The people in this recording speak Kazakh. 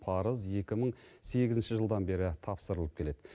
парыз екі мың сегізінші жылдан бері тапсырылып келеді